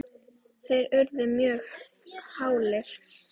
þeir urðu mjög hálir.